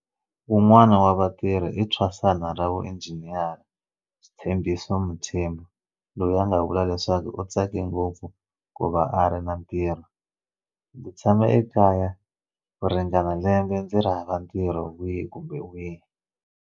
Wun'wana wa vatirhi i thwasana ra vuinjiniyara Sthembiso Mthembu loyi a nga vula leswaku u tsake ngopfu ku va a ri na ntirho, Ndzi tshame ekaya ku ringana lembe ndzi ri hava ntirho wihi kumbe wihi.